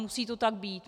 Musí to tak být.